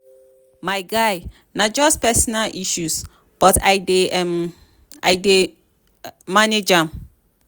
my guy na just personal issues but i dey manage am.